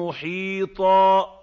مُّحِيطًا